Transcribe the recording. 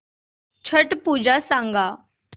छट पूजा सांग